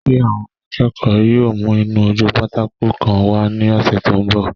Ṣé àwọn akẹ́kọ̀ọ́ náà yóò mú ìnu-ojúpátákó kan wá ní ọsẹ́ tó n bọ̀?